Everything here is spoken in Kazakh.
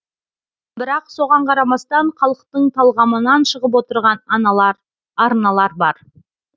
бірақ соған қарамастан халықтың талғамынан шығып отырған арналар бар